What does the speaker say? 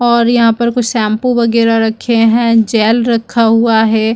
और यहाँ पर कुछ शैम्पू वैगेरा रखे है जैल रखा हुआ है।